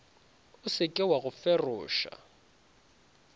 o seke wa go feroša